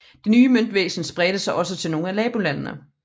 Det nye møntvæsen spredte sig også til nogle af nabolandene